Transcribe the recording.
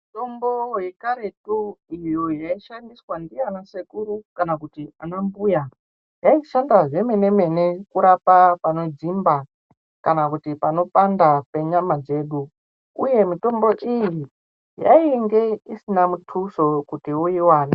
Mitombo yekareti iyo yaishandiswa ndiana sekuru kana kuti ana mbuya. Yaishanda zvemene-mene kurapa panodzimba kana kuti panopanda penyama dzedu, uye mitombo iyi yainge isina mutuso kuti uivane.